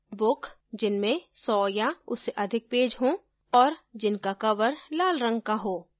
book जिनमे 100 या उससे अधिक पेज हों और जिसका covers लाल रंग को हो